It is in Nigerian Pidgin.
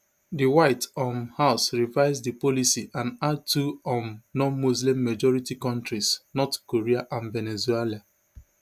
di white um house revise di policy and add two um nonmuslim majority kontris north korea and venezuela